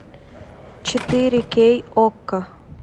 четыре кей окко